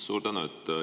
Suur tänu!